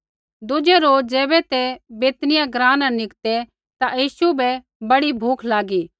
दुज़ै रोज ज़ैबै ते बैतनिय्याह ग्राँ न निकतै ता यीशु बै बड़ी भूख लागी